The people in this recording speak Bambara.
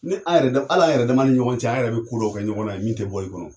Ni an yɛrɛ dama al'an yɛrɛ dama ni ɲɔgɔn cɛ an yɛrɛ be ko dɔ kɛ ɲɔgɔn na ye min tɛ bɔ i kɔnɔ